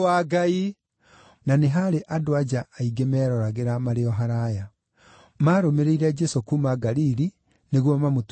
Na nĩ haarĩ andũ-a-nja aingĩ meeroragĩra marĩ o haraaya. Maarũmĩrĩire Jesũ kuuma Galili nĩguo mamũtungatagĩre.